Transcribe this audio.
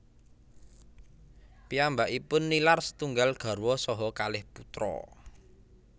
Piyambakipun nilar setunggal garwa saha kalih putra